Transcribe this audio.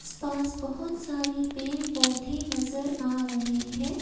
पास बहुत सारे पेड़ पौधे नजर आ रहे हैं।